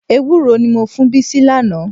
Ewúró ni mo fún Bísí lánàá.